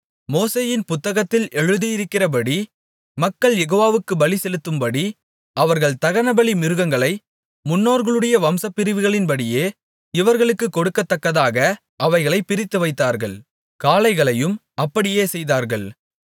மோசேயின் புத்தகத்தில் எழுதியிருக்கிறபடி மக்கள் யெகோவாவுக்குப் பலி செலுத்தும்படி அவர்கள் தகனபலி மிருகங்களை முன்னோர்களுடைய வம்சப்பிரிவுகளின்படியே இவர்களுக்குக் கொடுக்கத்தக்கதாக அவைகளைப் பிரித்துவைத்தார்கள் காளைகளையும் அப்படியே செய்தார்கள்